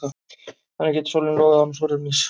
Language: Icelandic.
Þannig getur sólin logað án súrefnis.